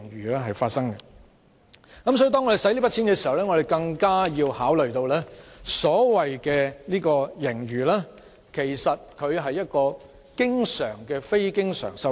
因此，當我們使用這筆錢時，要考慮到所謂盈餘其實是經常出現的非經常收入。